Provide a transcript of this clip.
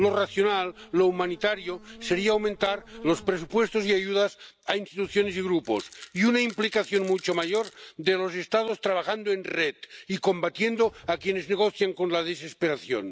Lo racional, lo humanitario, sería aumentar los presupuestos y ayudas a instituciones y grupos, y una implicación mucho mayor de los Estados trabajando en red y combatiendo a quienes negocien con la desesperación.